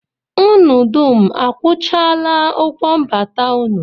Unu dum akwụchaala ụgwọ mbata unu?